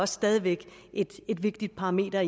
stadig væk et vigtigt parameter